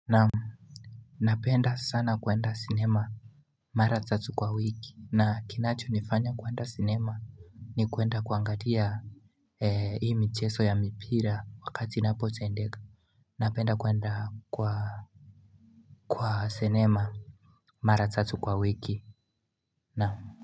Namu Napenda sana kuenda cinema Mara tatu kwa wiki na kinacho nifanya kuenda cinema ni kuenda kuangalia Eee hii mcheso ya mipira wakati napote ndega Napenda kuenda kwa Kwa cinema Mara tatu kwa wiki Namu.